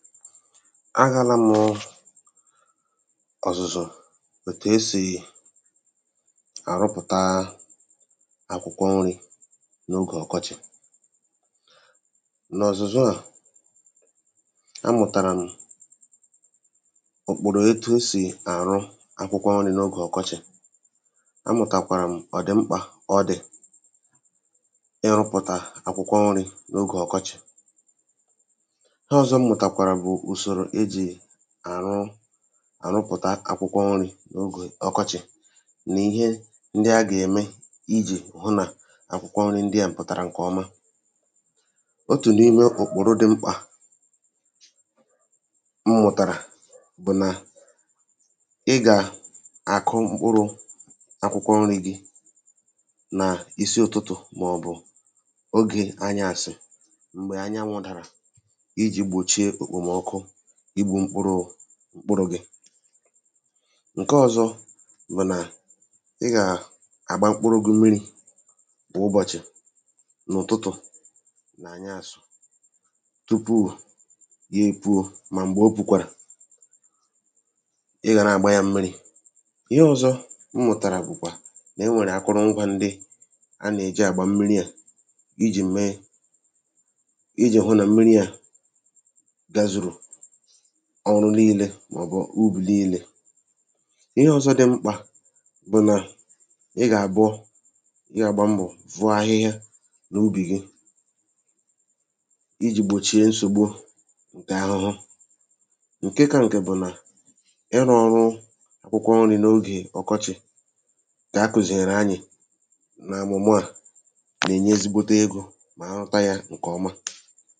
Agāālā mụ ọ̀zụ̀zụ̀ ètù esì àrụpụ̀taa akwụkwọ nrī n’ogè ọkọchì. N’òzụ̀zụ à, amụ̀tàrà m̀ ùkpòrò etu esì àrụ akwụkwọ nrī n’ogè ọkọchị̀, amụ̀tàkwàrà m̀ ọ̀dị̀ mkpà ọ dị̀ ịrụ̄pụ̀tà akwụkwọ nrī n’ogē ọ̀kọchị̀ ihe ọ̀zọ m mụ̀tàkwàrà bụ̀ ùsòrò ejì àrụ, àrụpụ̀ta akwụkwọ nrī n’ogè ọkọchị̀ nì ihe ndị a gème ijī hụ nà akwụkwọ nrī ndị à pụ̀tàrà ǹkọ̀ ọma. Otù n’ime òkpòro dị mkpà m mụ̀tàrà bụ̀ nà ị gà-àkụ mkpụrụ̄ akwụkwọ nrī gī nà isi ụ̀tụtụ̀ mọ̀bụ̀ ogè anyàsì m̀gbè anyanwụ̄ dàrà ijì gbòchie èkpòmọkụ igbū mkpụrụ̄ gị ǹkọ ọ̄zọ̄ bụ̀ nà ị gà-àgba mkpụrụ̄ gị mmirī kwụ̀ ụbọ̀chị̀ n’ụ̀tụtụ̀ na ànyaasụ̀ tupu ye èpuo mà m̀gbè o pùkwàrà ị gà na-àgba yā mmirī. Ihe ọ̄zọ̄ m mụ̀tàrà bụ̀kwà nè-enwèrè akụrụngwā ndị a nèji àgba mmiri à ijī hụ nà mmiri à gazùrù ọrụ nilē mọ̀bụ̀ ubì nilē. Ihe ọ̀zọ dị mkpà bụ̀ nà ị gàbọ, ị gàgba mbọ̀ foo ahịhịa n’ubì gu ijì gbòchie nsògbu ǹkè ahụhụ Ǹke kā ǹkè bụ̀ nà ịrụ̄ ọrụ akwụkwọ nrī n’ogè ọkọchị̀ ǹkà akụ̀zìèrè anyị̀ nọ̀ ọ̀mụ̀mụ à nènye ezigbote egō mà arụta yā ǹkọ̀ ọma